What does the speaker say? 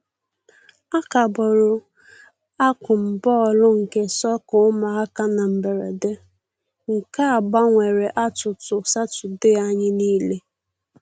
A kagburu akụm bọọlụ nke sọka ụmụaka na mberede, nke a gbanwere atụtụ Satọde anyị nile